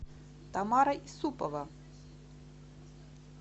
тамара юсупова